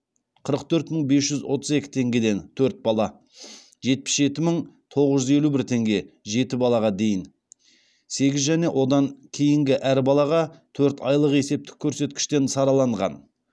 қырық төрт мың бес жүз отыз екі теңгеден төрт бала жетпіс жеті мың тоғыз жүз елу бір теңге дейін сегіз және одан кейінгі әр балаға төрт айлық есептік көрсеткіштен сараланған